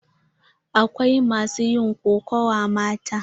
Akwai masu yin kokawa mata.